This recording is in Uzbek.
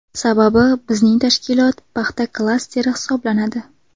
Sababi bizning tashkilot paxta klasteri hisoblanadi.